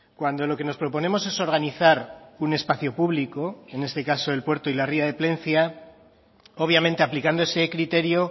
cuando lo que nos proponemos es organizar un espacio público en este caso el puerto y la ría de plencia obviamente aplicando ese criterio